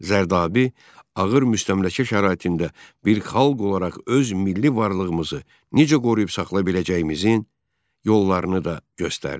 Zərdabi ağır müstəmləkə şəraitində bir xalq olaraq öz milli varlığımızı necə qoruyub saxlaya biləcəyimizin yollarını da göstərdi.